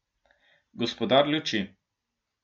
Gospodar luči.